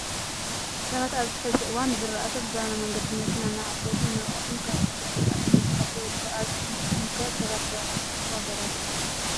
ሰባት ኣብዚ ሕዚ እዋን ዝራእቶም ብዘበናዊ መንገዲ ብመኪና እናዓፀዱን እናወቅዑን ካብ ብክነት ዝራእቲ እናተከላከሉ ይርከቡ። ኣብ ንስኹም ከ ሰባት ብዘበናዊ ክጥቀሙ ኣበራትዑ።